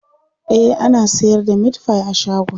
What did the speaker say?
e ana sayar da meatfie a shagon